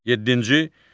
Yeddinci.